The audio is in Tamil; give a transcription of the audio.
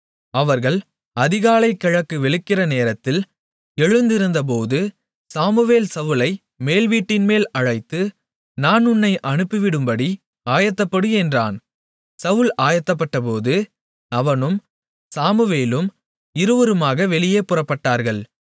அவர்கள் அதிகாலை கிழக்கு வெளுக்கிற நேரத்தில் எழுந்திருந்தபோது சாமுவேல் சவுலை மேல்வீட்டின்மேல் அழைத்து நான் உன்னை அனுப்பிவிடும்படி ஆயத்தப்படு என்றான் சவுல் ஆயத்தப்பட்டபோது அவனும் சாமுவேலும் இருவருமாக வெளியே புறப்பட்டார்கள்